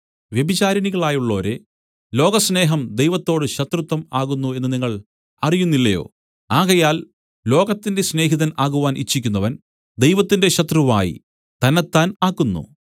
വ്യഭിചാരിണികളായുള്ളോരേ ലോകസ്നേഹം ദൈവത്തോട് ശത്രുത്വം ആകുന്നു എന്ന് നിങ്ങൾ അറിയുന്നില്ലയോ ആകയാൽ ലോകത്തിന്റെ സ്നേഹിതൻ ആകുവാൻ ഇച്ഛിക്കുന്നവൻ ദൈവത്തിന്റെ ശത്രുവായി തന്നത്താൻ ആക്കുന്നു